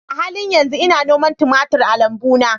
A halin yanzu ina noman tumatir a lambuna